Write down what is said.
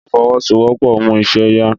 Ìfọwọ́sowọ́pọ̀ mú iṣẹ́ yá